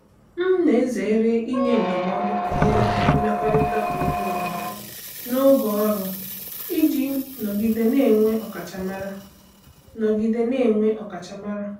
M na-ezere inye ndụmọdụ banyere mmekọrịta onwe onye n’oge ọrụ iji nọgide na-enwe ọkachamara. nọgide na-enwe ọkachamara.